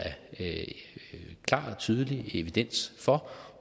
klar og tydelig evidens for